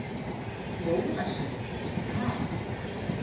Jólasveinn: Ha?